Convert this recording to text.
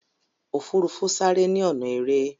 ofurufu sare ni ọnà èrè.